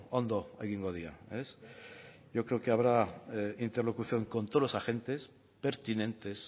ondo egingo dira yo creo que habrá interlocución con todos los agentes pertinentes